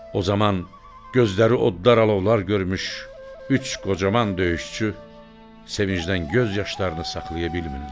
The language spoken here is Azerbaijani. O zaman gözləri odlar-alovlar görmüş üç qocaman döyüşçü sevincdən göz yaşlarını saxlaya bilmirlər.